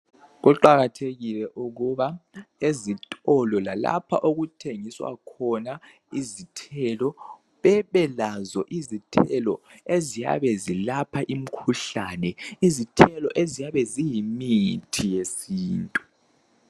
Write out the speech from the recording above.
Kuqakathekile ukuba ezitolo lalapha okuthengiswa khona izithelo bebelazo izithelo eziyabe zilapha imikhuhlane, izithelo eziyabe ziyimithi yesintu.